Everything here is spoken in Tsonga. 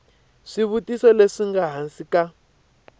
swivutiso leswi nga ehansi ka